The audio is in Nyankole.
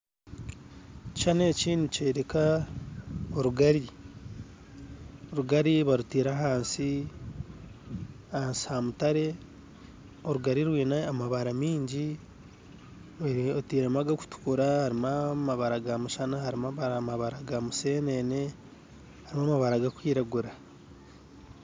Ekishushani eki nikyereka orugari, orugari barutire ahansi, ahansi hamutaare , orugari rweine amabara mingi otairemu agakutukura harimu amabaara g'omushana, harimu amabaara gamusenene , harimu amabaara gakwiragura.